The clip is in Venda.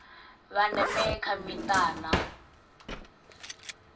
vha ndeme kha mita na